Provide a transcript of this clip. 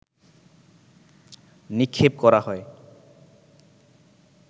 নিক্ষেপ করা হয়